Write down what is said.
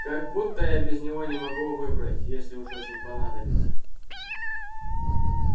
как будто я без него не могу выбрать если уж очень понадобится